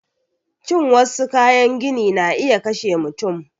Cin wassu kayan gini na iya kashe mutum